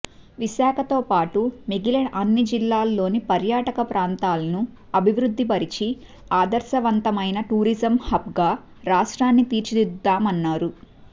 విశాఖతో పాటు మిగిలిన అన్ని జిల్లాల్లోని పర్యాటక ప్రాంతాలను అభివృద్ధి పరచి ఆదర్శవంతమైన టూరిజం హబ్గా రాష్ట్రాన్ని తీర్చిదిద్దాతామన్నారు